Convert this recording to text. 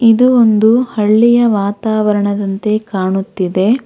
ಇದು ಒಂದು ಹಳ್ಳಿಯ ವಾತಾವರಣದಂತೆ ಕಾಣುತ್ತಿದೆ.